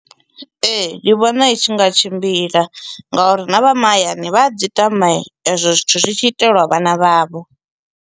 Ee, ndi vhona i tshi nga tshimbila ngauri na vha mahayani vha dzi tama ezwo zwithu zwi tshi itelwa vhana vha vho.